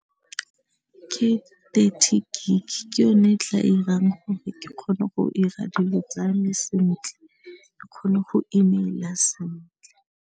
Ke thirty gig ke yone e tla 'irang gore ke kgone go 'ira dilo tsa me sentle ke kgone go email-a sentle.